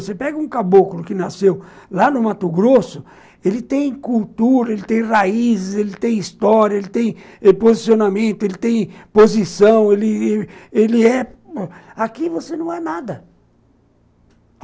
Você pega um caboclo que nasceu lá no Mato Grosso, ele tem cultura, ele tem raízes, ele tem história, ele tem posicionamento, ele tem posição, ele é... Aqui você não é nada.